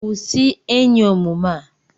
Kwụsị enyi omume a!